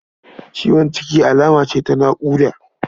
Ciwon ciki alama ce ta naƙuda.